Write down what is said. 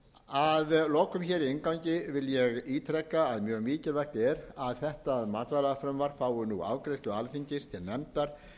að lokum hér í inngangi vil ég ítreka að mjög mikilvægt er að þetta matvælafrumvarp fái nú afgreiðslu alþingis til nefndar